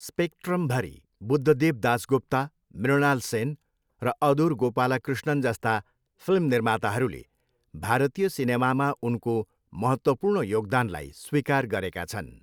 स्पेक्ट्रमभरि, बुद्धदेव दासगुप्ता, मृणाल सेन र अदुर गोपालकृष्णन जस्ता फिल्म निर्माताहरूले भारतीय सिनेमामा उनको महत्त्वपूर्ण योगदानलाई स्वीकार गरेका छन्।